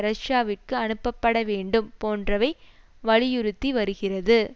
ரஷ்யாவிற்கு அனுப்பப்படவேண்டும் போன்றவை வலியுறுத்தி வருகிறது